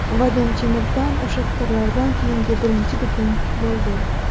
Vadim Chemirtan o‘sha fikrlardan keyingi birinchi bitim bo‘ldi.